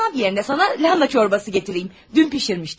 Kolbasa əvəzinə sənə kələm şorbası gətirim, dünən bişirmişdim.